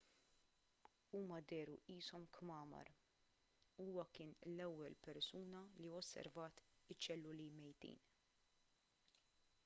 huma dehru qishom kmamar huwa kien l-ewwel persuna li osservat iċ-ċelluli mejtin